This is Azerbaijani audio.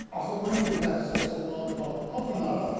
Axı bunun bir nəticəsi olmalıdır, hamı narazıdır.